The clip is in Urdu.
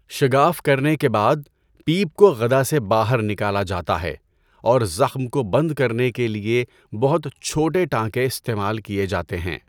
شگاف کرنے کے بعد، پیپ کو غدہ سے باہر نکالا جاتا ہے، اور زخم کو بند کرنے کے لیے بہت چھوٹے ٹانکے استعمال کیے جاتے ہیں۔